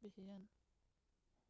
bixiyaan